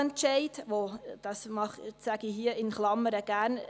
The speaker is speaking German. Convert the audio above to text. Der WEKO-Entscheid – das sage ich hier in Klammern gerne: